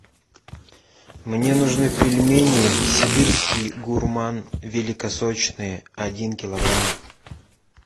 мне нужны пельмени сибирский гурман великосочные один килограмм